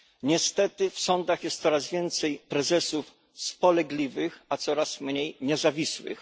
Niestety w sądach jest coraz więcej prezesów spolegliwych, a coraz mniej niezawisłych.